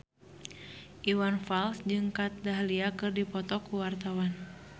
Iwan Fals jeung Kat Dahlia keur dipoto ku wartawan